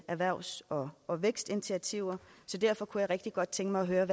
erhvervs og og vækstinitiativer så derfor kunne jeg rigtig godt tænke mig at høre